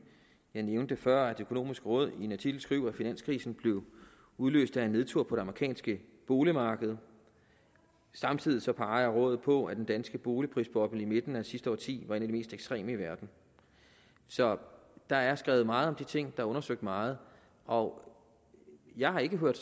jeg nævnte før at det økonomiske råd i en artikel skriver at finanskrisen blev udløst af en nedtur på det amerikanske boligmarked og samtidig peger rådet på at den danske boligprisboble i midten af sidste årti var en af de mest ekstreme i verden så der er skrevet meget om de ting og der er undersøgt meget og jeg har ikke hørt